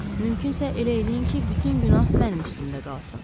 Mümkünsə elə eləyin ki, bütün günah mənim üstümdə qalsın.